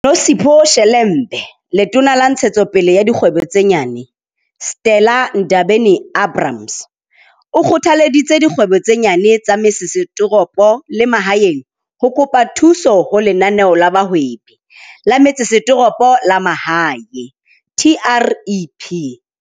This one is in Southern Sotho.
Nosihle Shelembe Letona la Ntshetso pele ya Dikgwebo tse Nyane, Stella Ndabeni-Abrahams, o kgothalleditse dikgwebo tse nyane tsa metse setoropo le mahaeng ho kopa thuso ho Lenaneo la Bohwebi la Metsesetoropo le Mahae, TREP.